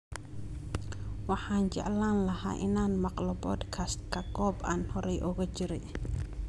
Waxaan jeclaan lahaa inaan maqlo podcast-ka goob aan horay ugu jiray